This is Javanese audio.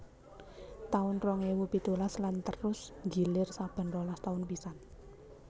taun rong ewu pitulas lan terus nggilir saben rolas taun pisan